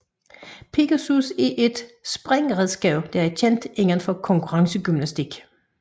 Pegasus er et springredskab der er kendt indenfor konkurrencegymnastik